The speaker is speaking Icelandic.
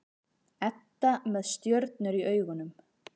Edda með stjörnur í augunum.